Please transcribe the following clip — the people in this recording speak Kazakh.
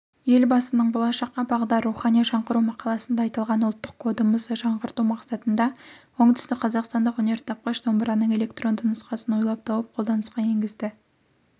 елбасының болашаққа бағдар рухани жаңғыру мақаласында айтылған ұлттық кодымызды жаңғырту мақсатында оңтүстікқазақстандық өнертапқыш домбыраның электронды нұсқасын ойлап тауып қолданысқа енгізді